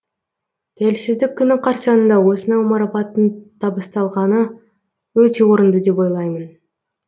тәуелсіздік күні қарсаңында осынау марапаттың табысталғаны өте орынды деп ойлаймын